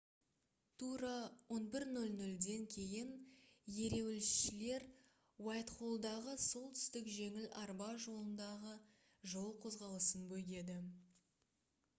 тура 11:00-ден кейін ереуілшілер уайтхоллдағы солтүстік жеңіл арба жолындағы жол қозғалысын бөгеді